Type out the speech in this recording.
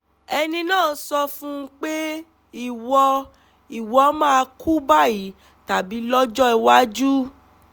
ẹni náà sọ fún un pé ìwọ ìwọ máa kú báyìí tàbí lọ́jọ́ iwájú